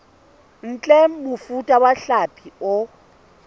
ntle mofuta wa hlapi o